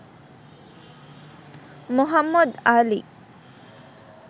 Md. Ali